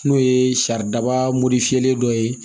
N'o ye saridaba morifilen dɔ ye